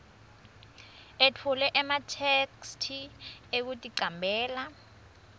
etfule ematheksthi ekuticambela